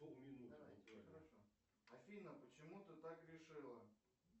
афина почему ты так решила